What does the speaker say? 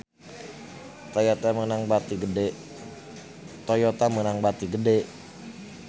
Toyota meunang bati gede